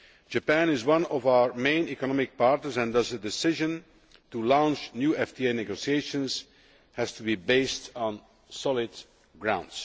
Japan is one of our main economic partners, and thus a decision to launch new FTA negotiations has to be based on solid ground.